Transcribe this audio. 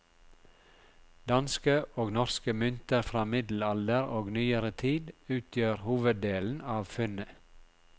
Danske og norske mynter fra middelalder og nyere tid utgjør hoveddelen av funnet.